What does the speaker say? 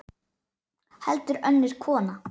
Heldur önnur kona.